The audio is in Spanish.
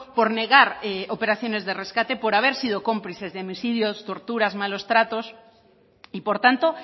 por negar operaciones de rescate por haber sido cómplices de homicidios torturas malos tratos y por tanto